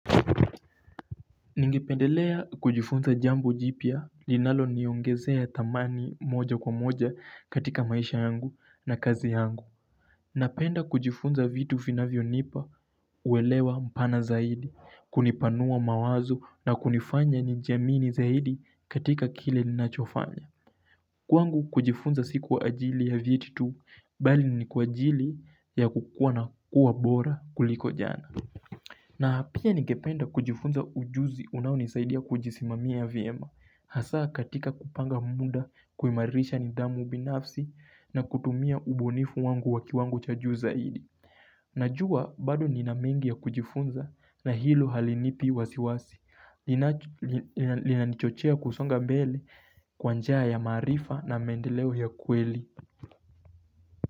Ningependelea kujifunza jambo jipya linalo niongezea thamani moja kwa moja katika maisha yangu na kazi yangu. Napenda kujifunza vitu vinavyo nipa uwelewa mpana zaidi, kunipanua mawazo na kunifanya nijiamini zaidi katika kile ninachofanya. Kwangu kujifunza siku kwa ajili ya vitu tu bali ni kwa ajili ya kukua na kuwa bora kuliko jana. Na pia nigependa kujifunza ujuzi unao nisaidia kujisimamia vyema Hasaa katika kupanga muda kuimarisha nidhamu binafsi na kutumia ubunifu wangu wakiwango cha juu zaidi Najua bado ninamengi ya kujifunza na hilo halinipi wasiwasi Linanichochea kusonga mbele kwa njaa ya maarifa na maendeleo ya kweli.